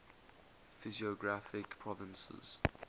physiographic provinces